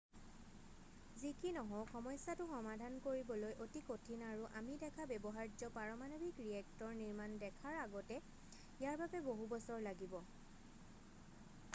যি কি নহওক সমস্যাটো সমাধান কৰিবলৈ অতি কঠিন আৰু আমি দেখা ব্যৱহাৰ্য পাৰমানৱিক ৰিয়েক্টৰ নিৰ্মাণ দেখাৰ আগতে ইয়াৰ বাবে বহু বছৰ লাগিব